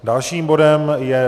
Dalším bodem je